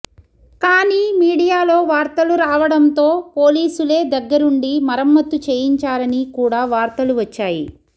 కానీ మీడియాలో వార్తలు రావడంతో పోలీసులే దగ్గరుండి మరమ్మతు చేయించారని కూడా వార్తలు వచ్చాయి